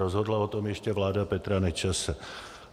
Rozhodla o tom ještě vláda Petra Nečase.